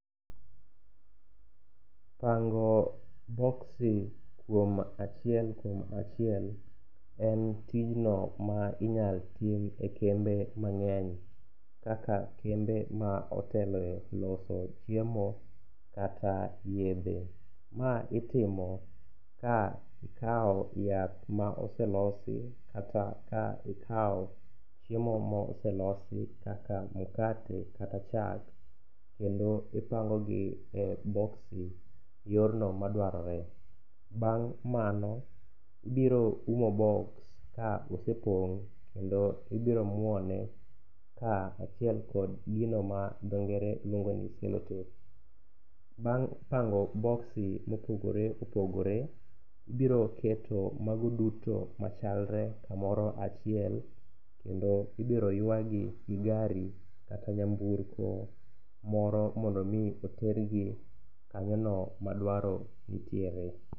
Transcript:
Pango boksi kuom achiel kuom achiel en tijno ma inyalo tim e kembe mang'eny kaka kembe ma otelo e loso chiemo kata yedhe. Ma itimo ka ikawo yath ma oselosi kata ka ikawo chiemo mo oselosi kaka mkate kata chak, kendo ipangogi e boksi yorno madwarore. Bang' mano, ibiro umo boks ka osepong' kendo ibiro muone kaachiel kod gino ma dhongere luongo ni selotape. Bang' pango boksi ma opogore opogore, ibiro keto mago duto machalre kamoro achiel kendo ibiro ywagi gi gari kata nyamburko moro mondo omi otergi kanyono ma dwaro nitiere.